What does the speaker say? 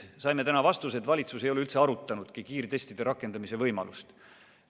Saime täna vastuse, et valitsus ei ole üldse arutanudki kiirtestide rakendamise võimalust.